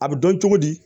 A bɛ dɔn cogo di